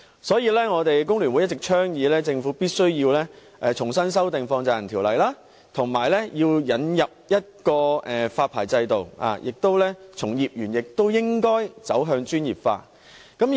所以，香港工會聯合會一直倡議政府必須重新修訂《條例》，並引入發牌制度，而從業員亦應該專業化。